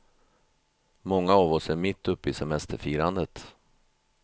Många av oss är mitt uppe i semesterfirandet.